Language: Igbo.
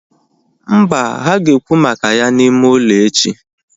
Mba, ha ga ekwu maka ya na ime ụlọ echi